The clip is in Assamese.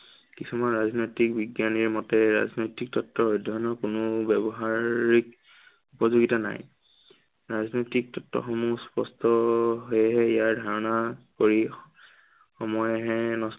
কিছুমান ৰাজনৈতিক বিজ্ঞানীৰ মতে ৰাজনৈতিক তত্ত্ব অধ্য়য়নৰ কোনো ব্য়ৱহাৰিক উপযোগিতা নাই। ৰাজনৈতিক তত্ত্বসমূহ স্পষ্ট। সেয়েহে ইয়াৰ ধাৰনা কৰি সময়হে